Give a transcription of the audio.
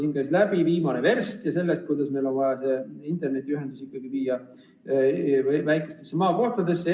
Siin käis läbi viimase versta temaatika ja räägiti sellest, kuidas meil on vaja internetiühendus viia väikestesse maakohtadesse.